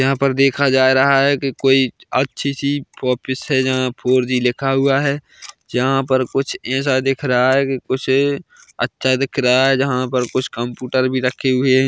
यहाँ पर देखा जा रहा है कि कोई अच्छी सी ऑफिस है जहां फोर जी लिखा हुआ है जहां पर कुछ ऐसा दिख रहा है कि कुछ अच्छा दिख रहा है जहां पर कुछ कंप्युटर भी रखे हुए हैं।